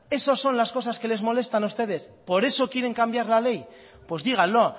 esas son las cosas que les molestan a ustedes por eso quieren cambiar la ley pues díganlo